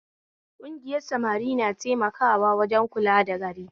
Kugiyar samari na taimakawa wajen kula da gari